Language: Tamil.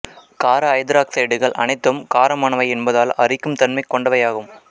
கார ஐதராக்சைடுகள் அனைத்தும் காரமானவை என்பதால் அரிக்கும் தன்மை கொண்டைவையாகும்